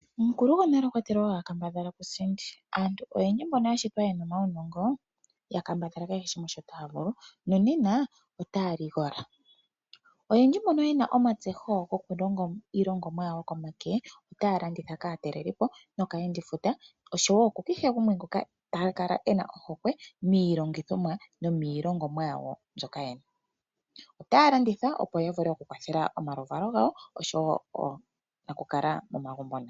Omukulu gonale okwa tile wakambadhala kusindi, aantu oyendji mboka ya shitwa yena omaunongo ya kambadhala kehe shimwe shoka taya vulu nonena otaya ligola. Oyendji mbono yena omatseho goku longa iilongomwa yawo yokomake otaya landitha kaatalelipo nokayendifuta oshowo ku kehe gumwe ngoka taka kala ena ohokwe miilongithomwa nomilongomwa yawo mbyono yena. Otaya landitha opo ya vule oku kwathela omalu valo gawo oshowo onakukala momagumbo nayo.